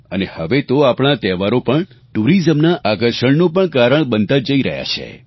અને હવે તો આપણા આ તહેવારો પણ ટુરીઝમના આકર્ષણનું પણ કારણ બનતા જઈ રહ્યા છે